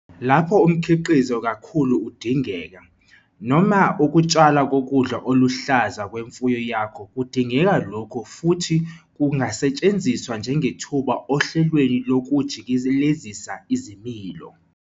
Lapho umkhiqizo kakolo udingeka, noma ukutshalwa kokudla okuluhlaza kwemfuyo yakho kudingeka lokhu futhi kungasetshenziswa njengethuba ohlelweni lokujikelezisa izilimo.